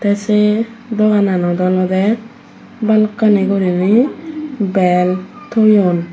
te se dogananot olode balokkani gurinei bel toyon.